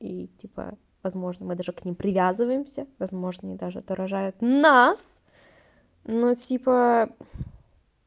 и типа возможно мы даже к ним привязываемся возможно и даже отражает нас но типа